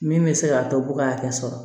Min bɛ se k'a to b'u ka hakɛ sɔrɔ